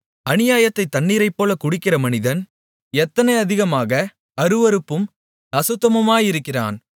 அநியாயத்தைத் தண்ணீரைப்போலக் குடிக்கிற மனிதன் எத்தனை அதிகமாக அருவருப்பும் அசுத்தமுமாயிருக்கிறான்